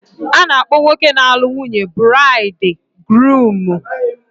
A na-akpọ nwoke na-alụ nwunye buraidi guruumu.